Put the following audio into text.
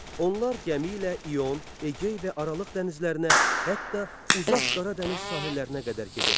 Onlar gəmi ilə İyon, Egey və Aralıq dənizlərinə, hətta uzaq Qara dəniz sahillərinə qədər gedirdilər.